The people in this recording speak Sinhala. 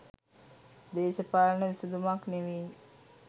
දේශපාලන විසඳුමක් නෙවෙයි.